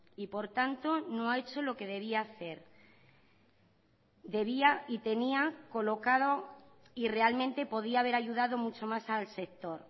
y por tanto no ha hecho lo que debía hacer debía y tenía colocado y realmente podía haber ayudado mucho más al sector